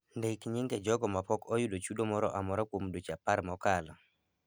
Ndik nyinge jogo ma pok oyudo chudo moro amora kuom dweche apar mokalo.